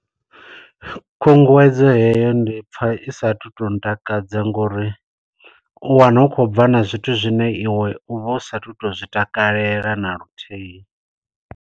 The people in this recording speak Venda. Khunguwedzo heyo ndi pfa isathu to ntakadza ngo uri, u wana hu khou bva na zwithu zwine iwe u vha usathu to zwi takalela na luthihi.